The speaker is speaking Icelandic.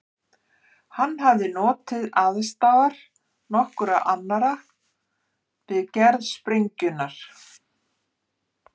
Hann hafði notið aðstoðar nokkurra annarra við gerð sprengjunnar.